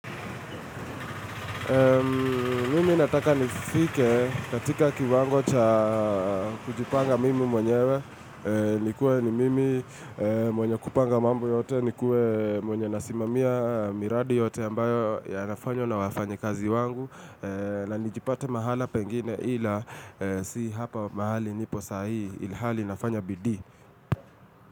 Mimi nataka nifike katika kiwango cha kujipanga mimi mwenyewe nikue ni mimi mwenye kupanga mambo yote nikue mwenye nasimamia miradi yote ambayo ya nafanyo na wafanyi kazi wangu na nijipate mahala pengine ila si hapa mahali nipo sahi ilhali nafanya bidii.